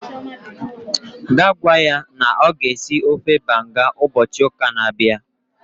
gaa gwa ya na ọ ga-esi ofe banga ụbọchị ụka na-abịa